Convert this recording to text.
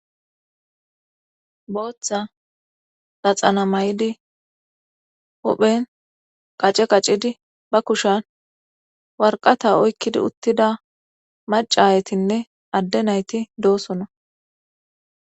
booththa daxana may7idi huphen qace qaccidi ba kushan warqata oykkidi uttida maca ayetinne adde nayti doosona